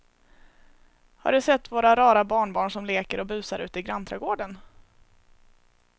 Har du sett våra rara barnbarn som leker och busar ute i grannträdgården!